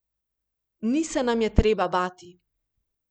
Ni se nam je treba bati.